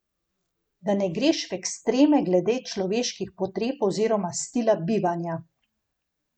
Da ne greš v ekstreme glede človeških potreb oziroma stila bivanja.